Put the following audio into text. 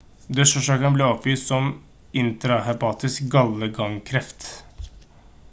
dødsårsaken ble oppgitt som intrahepatisk gallegangkreft